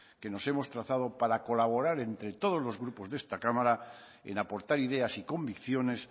que nos hemos trazado para colaborar entre todos los grupos de esta cámara en aportar ideas y convicciones